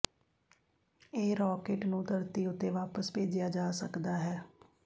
ਇਹ ਰਾਕੇਟ ਨੂੰ ਧਰਤੀ ਉੱਤੇ ਵਾਪਸ ਭੇਜਿਆ ਜਾ ਸਕਦਾ ਹੈ